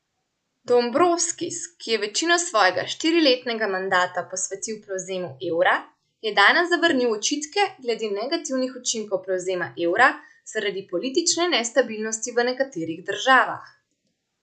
Dombrovskis, ki je večino svojega štiriletnega mandata posvetil prevzemu evra, je danes zavrnil očitke glede negativnih učinkov prevzema evra zaradi politične nestabilnosti v nekaterih državah.